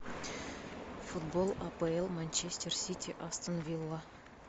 футбол апл манчестер сити астон вилла